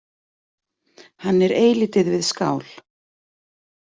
Hann er eilítið við skál.